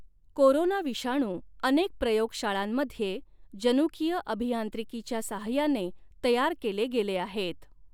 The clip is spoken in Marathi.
कोरोना विषाणू अनेक प्रयोगशाळांमध्ये जनुकीय अभियांत्रिकीच्या साहाय्याने तयार केले गेले आहेत.